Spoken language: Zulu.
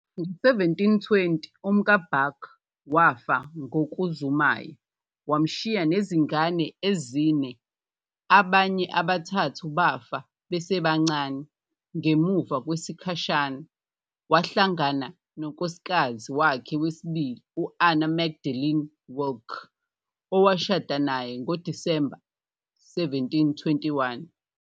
Ngo-1720, umkaBach wafa ngokuzumayo, wamshiya nezingane ezine, abanye abathathu bafa besebancane. Ngemuva kwesikhashana, wahlangana nonkosikazi wakhe wesibili, u-Anna Magdalena Wilcke, owashada naye ngoDisemba 1721.